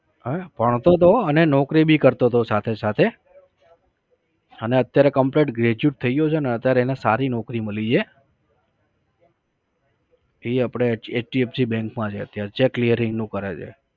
ભણતો તો અને નોકરી બી કરતો તો સાથે સાથે અને અત્યારે complete graduate થઈ ગ્યો છે ને અત્યારે એને સારી નૌકરી મળી છે. એ આપણે hdfc bank માં છે અત્યારે cheque નું કરે છે